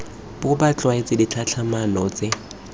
bo ba tlwaetse ditlhatlhamano tse